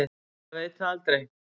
Maður veit það aldrei.